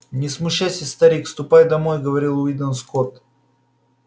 не смущайся старик ступай домой говорил уидон скотт